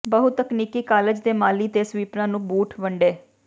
ਬਹੁਤਕਨੀਕੀ college ਦੇ ਮਾਲੀ ਤੇ ਸਵੀਪਰਾਂ ਨੂੰ ਬੂਟ ਵੰਡੇ